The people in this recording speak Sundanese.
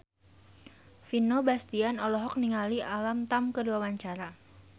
Vino Bastian olohok ningali Alam Tam keur diwawancara